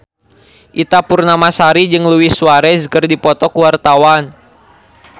Ita Purnamasari jeung Luis Suarez keur dipoto ku wartawan